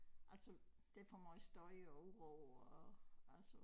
Altså der for meget støj og uro og altså